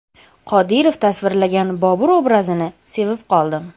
Qodirov tasvirlagan Bobur obrazini sevib qoldim.